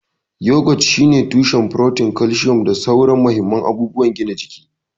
Yogurt shine kyakkyawan tushen furotin, kalcium, da sauran mahimman abubuwan gina jiki.